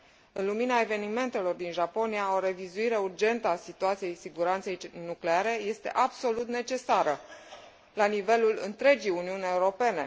În lumina evenimentelor din Japonia, o revizuire urgentă a situației siguranței nucleare este absolut necesară la nivelul întregii Uniuni Europene.